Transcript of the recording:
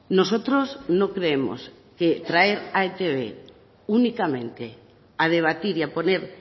nosotros no creemos que traer a etb únicamente a debatir y a poner